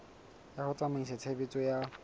ya ho tsamaisa tshebeletso ya